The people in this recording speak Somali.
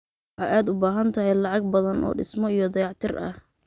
Waxa aad u baahan tahay lacag badan oo dhismo iyo dayactir ah.